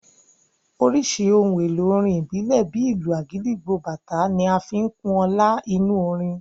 Oríṣiríṣi ohun èlò orin ìbílẹ̀, bíi ìlù agidigbo, bàtá ń fi kún ọlá inú orin